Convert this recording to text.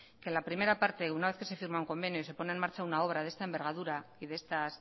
que la primera parte una vez que se firma un convenio y se pone en marcha una obra de esta envergadura y